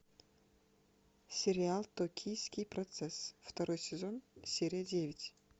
сериал токийский процесс второй сезон серия девять